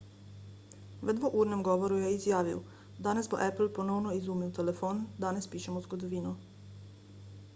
v dvournem govoru je izjavil danes bo apple ponovno izumil telefon danes pišemo zgodovino